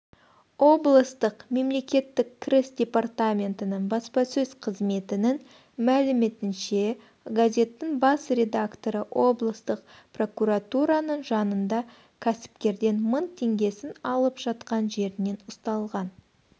облыстық мемлекеттік кіріс департаментінің баспасөз қызметінің мәліметінше газеттің бас редакторы облыстық прокуратураның жанында кәсіпкерден мың теңгесін алып жатқан жерінен ұсталған